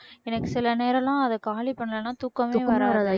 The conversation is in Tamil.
எனக்கு சில நேரம் எல்லாம் அதை காலி பண்ணலைன்னா தூக்கமே வராது